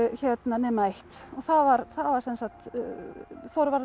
nema eitt og það var Þorvarður